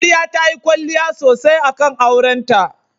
Amarya tayi kwalliya sosai akan aurenta.